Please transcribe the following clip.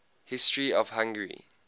history of hungary